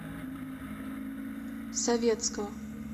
советского